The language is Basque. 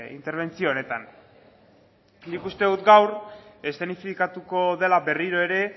interbentzio honetan nik uste dut gaur eszenifikatuko dela berriro ere